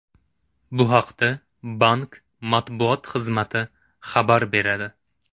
Bu haqda bank matbuot xizmati xabar beradi .